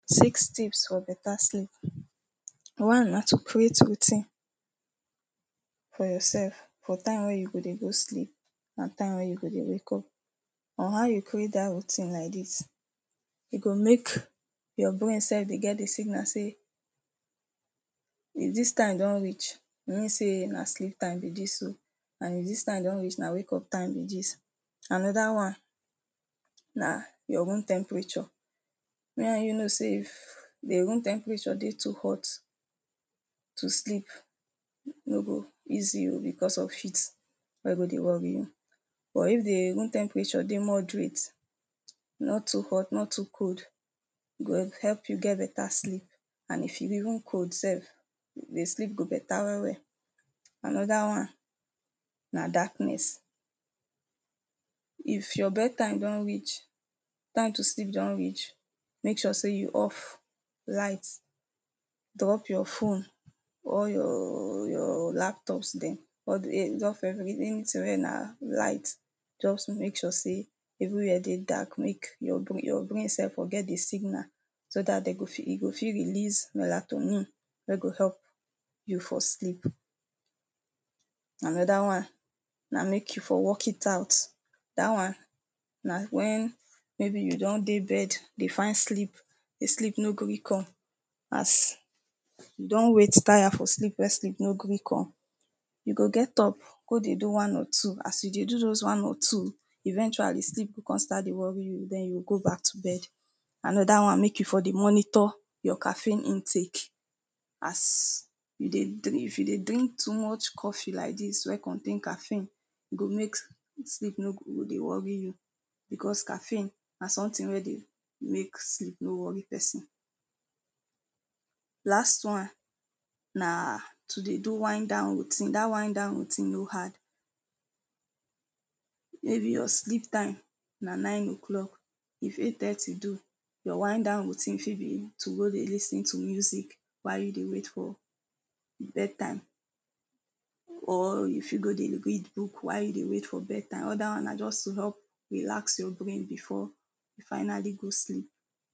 Six tips for better sleep One na to create routine for yourself for time wey you go dey go sleep and time wey you go dey wake up On how you create dat routine like dis, e go make your brain self dey get the signal sey if dis time don reach, e mean sey na sleep time be dis oh. And if dis time don reach na wake up time be dis Another one na your room temperature Me and you know sey if the room temperature dey hot too to sleep no go easy oh because of heat wey go dey worry you. Or if the room temperature dey moderate no too hot no too cold e go help you get better sleep and if e even cold self the sleep go better well well Another one na darkness If your bed time don reach, time to sleep don reach make sure sey you off light, drop your phone all your your laptops dem. All the drop every anything wey na light. Just to make sure sey everywhere dey dark. Make your brain, your brain self get the signal so dat dem go fit e go fit release melatonin wey go help you for sleep. Another one na make you for work it out. Dat one na when maybe you don dey bed dey find sleep, the sleep no gree come As you don wait tire for sleep wey sleep no gree come, you go get up go dey do one or two. As you dey do one or two eventually the sleep fit con start dey worry you den you go back to bed. Another one. Make you for dey monitor your caffeine intake. As you dey drink if you dey drink too much coffee like dis wey contain caffeine, e go make sleep no go no dey worry you bacause na caffeine na something wey dey make sleep no worry person. Last one na to dey do whine down routine Dat whine down routine no hard Maybe your sleep time na nine O clock, you fit in ten d to do your whine down routine fit be, to go dey lis ten to music why you dey wait for bed time Or you fit go dey read book while you dey wait for bed time. All dat one na just to just relax your brain before you finally go sleep.